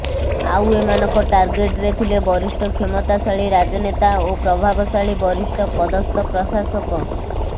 ଆଉ ଏମାନଙ୍କ ଟାର୍ଗେଟରେ ଥିଲେ ବରିଷ୍ଠ କ୍ଷମତାଶାଳୀ ରାଜନେତା ଓ ପ୍ରଭାବଶାଳୀ ବରିଷ୍ଠ ପଦସ୍ଥ ପ୍ରଶାସକ